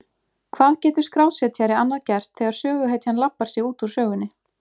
Hvað getur skrásetjari annað gert þegar söguhetjan labbar sig út úr sögunni?